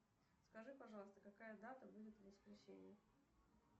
скажи пожалуйста какая дата будет в воскресенье